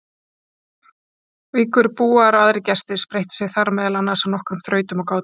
Víkurbúar og aðrir gestir spreyttu sig þar meðal annars á nokkrum þrautum og gátum.